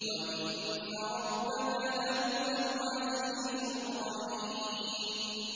وَإِنَّ رَبَّكَ لَهُوَ الْعَزِيزُ الرَّحِيمُ